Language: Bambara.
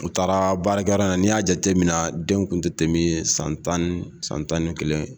U taara baarakɛ yɔrɔn in n 'i y'a jate minna den tun tɛ tɛmɛ san tan ,san tan ni kelen!